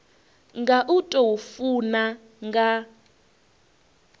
nga u tou funa nga